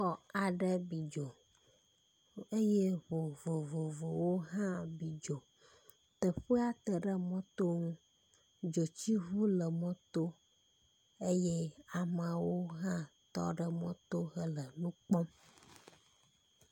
Xɔ aɖe bi dzo eye ŋu vovovowo hã bi dzo, teƒea te ɖe mɔ to ŋu, dzotsiŋu le mɔ to eye amewo hã tɔ ɖe mɔ to le hele nukpɔm